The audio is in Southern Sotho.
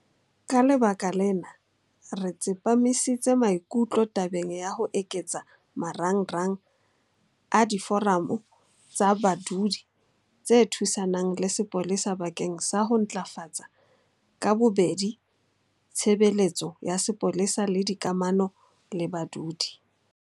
Ka lebaka lena, re tsepamisitse maikutlo tabeng ya ho eketsa marangrang a Diforamo tsa Badudi tse Thusanang le Sepolesa bakeng sa ho ntlafatsa ka bobedi tshebeletso ya sepolesa le dikamano le badudi.